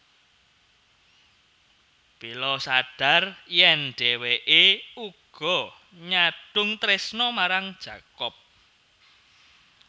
Bella sadhar yèn dhéwéké uga nyadhung trésna marang Jacob